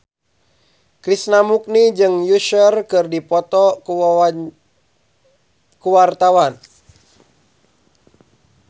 Krishna Mukti jeung Usher keur dipoto ku wartawan